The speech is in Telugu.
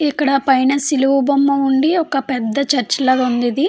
ఇక్కడ పైన సిలువ బొమ్మ ఉండి ఒక పెద్ద చర్చ్ లాగ ఉంది ఇది.